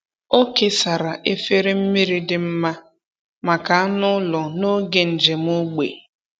Ọ kesara efere mmiri dị mma maka anụ ụlọ n’oge njem ógbè.